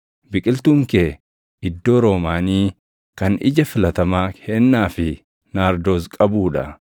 Biqiltuun kee iddoo roomaanii kan ija filatamaa heennaa fi naardoos qabuu dha;